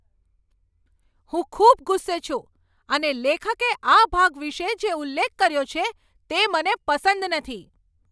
હું ખૂબ ગુસ્સે છું અને લેખકે આ ભાગ વિશે જે ઉલ્લેખ કર્યો છે, તે મને પસંદ નથી.